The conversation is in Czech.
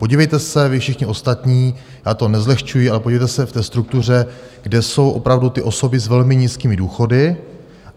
Podívejte se vy všichni ostatní, já to nezlehčuji, ale podívejte se v té struktuře, kde jsou opravdu ty osoby s velmi nízkými důchody.